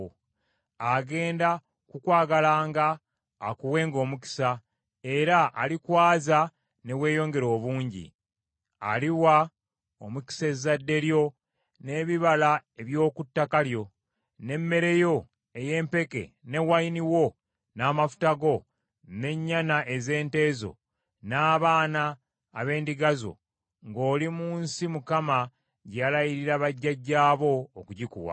Agenda kukwagalanga, akuwenga omukisa; era alikwaza ne weeyongera obungi. Aliwa omukisa ezzadde lyo n’ebibala eby’oku ttaka lyo, n’emmere yo ey’empeke, ne wayini wo, n’amafuta go, n’ennyana ez’ente zo, n’abaana ab’endiga zo, ng’oli mu nsi Mukama gye yalayirira bajjajjaabo, okugikuwa.